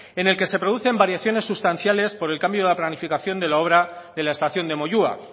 en el que se producen variaciones sustanciales por el cambio de la planificación de la obra de la estación de moyua